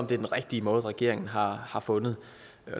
den rigtige måde regeringen har har fundet